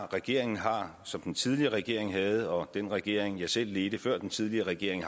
regeringen har som den tidligere regering havde og som den regering jeg selv ledte før den tidligere regering